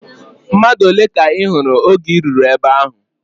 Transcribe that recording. Mmadụ ole ka ị hụrụ oge I ruru ebe ahụ?